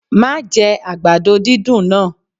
Má jẹ àgbàdo dídùn náà!